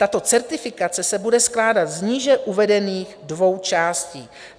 Tato certifikace se bude skládat z níže uvedených dvou částí.